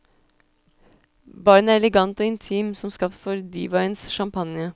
Baren er elegant og intim, som skapt for divaens champagne.